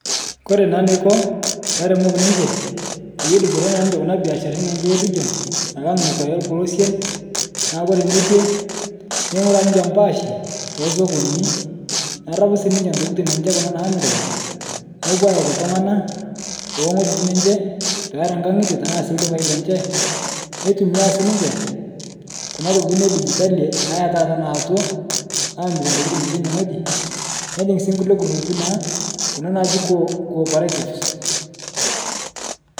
Kore naa neiko laremok ninche paye edupore naa ninche kuna biasharini enche e region alang' nokwa elepolosen, naa kore nekwe, neing'uraa ninche paashi tesokonini, nerapu sii ninche ntokitin enche kuna naamirita, nepo ayaiki ltung'ana toong'ojitin enche, peera nkang'ite tanaa sii ldukai lenche neitumiyia sii ninche, kuna tokitin edijitali naa etaata naaoto, aamire ntokitin enche inne ng'oji, nepek sii nkule nkurrupii naa kuna natii Co-operative.